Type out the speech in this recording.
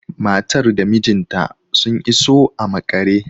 Matar da mijinta sun iso a maƙare